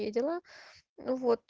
дела